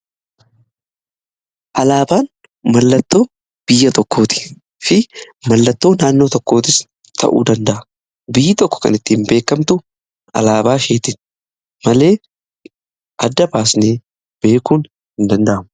Alaabaan mallattoo biyya tokkooti fi mallattoo naannoo tokkootis ta'uu danda'a. Biyyi tokko kan ittiin beekamtu alaabaa isheetin malee adda baasanee beekuun hin danda'amu.